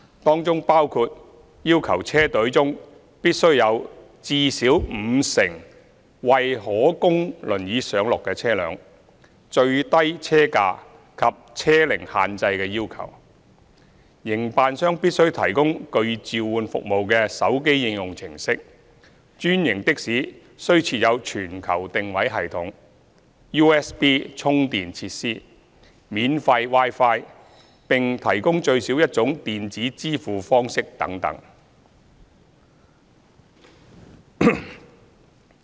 當中包括要求車隊中必須有至少五成為可供輪椅上落的車輛、最低車價及車齡限制的要求、營辦商必須提供具召喚服務的手機應用程式、專營的士須設有全球定位系統、USB 充電設施、免費 Wi-Fi， 並提供最少一種電子支付方式等等。